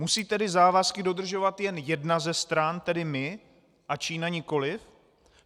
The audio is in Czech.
Musí tedy závazky dodržovat jen jedna ze stran, tedy my, a Čína nikoliv?